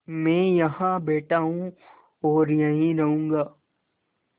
मैं यहाँ बैठा हूँ और यहीं रहूँगा